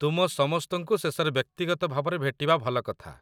ତୁମ ସମସ୍ତଙ୍କୁ ଶେଷରେ ବ୍ୟକ୍ତିଗତ ଭାବରେ ଭେଟିବା ଭଲ କଥା